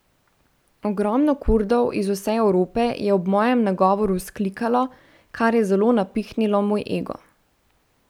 Ogromno Kurdov iz vse Evrope je ob mojem nagovoru vzklikalo, kar je zelo napihnilo moj ego.